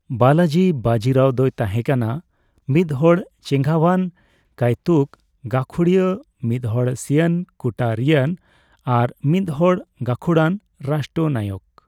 ᱵᱟᱞᱟᱡᱤ ᱵᱟᱡᱤᱨᱟᱣ ᱫᱚᱭ ᱛᱟᱦᱮᱸᱠᱟᱱᱟ ᱢᱤᱫᱦᱚᱲ ᱪᱮᱜᱷᱟᱸᱣᱟᱱ ᱠᱟᱹᱭᱛᱩᱠ ᱜᱟᱹᱠᱷᱩᱲᱤᱭᱟ, ᱢᱤᱫᱦᱚᱲ ᱥᱤᱭᱟᱱ ᱠᱩᱴᱟᱹᱨᱤᱭᱟᱱ ᱟᱨ ᱢᱤᱫ ᱦᱚᱲ ᱜᱟᱠᱷᱩᱲᱟᱱᱹ ᱨᱟᱥᱴᱚᱱᱟᱭᱚᱠ ᱾